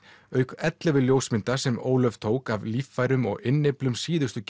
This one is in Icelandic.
auk ellefu ljósmynda sem Ólöf tók af líffærum og innyflum síðustu